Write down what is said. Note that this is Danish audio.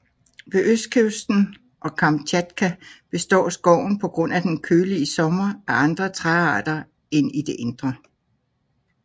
Ved østkysten og på Kamtjatka består skoven på grund af den kølige sommer af andre træarter end i det indre